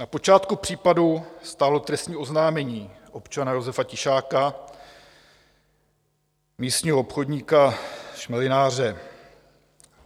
Na počátku případu stálo trestní oznámení občana Josefa Tišáka, místního obchodníka, šmelináře.